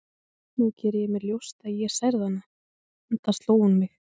Nú geri ég mér ljóst að ég særði hana, enda sló hún mig.